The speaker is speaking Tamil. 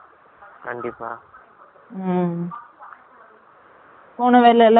ம். போன வேலை எல்லாம், நல்லபடியா முடிச்சிட்டீங்களா